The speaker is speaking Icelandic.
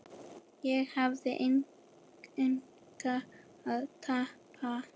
Ég hafði engu að tapa.